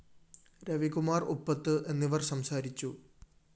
രവികുമാര്‍ ഉപ്പത്ത് എന്നിവര്‍ സംസാരിച്ചു